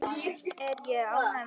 Er ég ánægður með það?